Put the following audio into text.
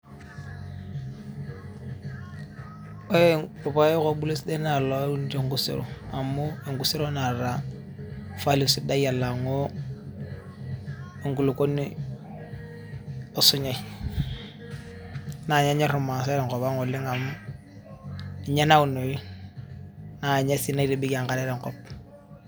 ore irpayek obulu esidai naa ilouni tenkusero amu enkusero naata value sidai alang'u enkulukuoni osunyai naa kenyorr irmaasae tenkop ang oleng amu ninye naunoi naa ninye sii naitibikie enkare tenkop.